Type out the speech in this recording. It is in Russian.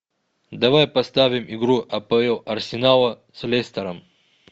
давай поставим игру апл арсенала с лестером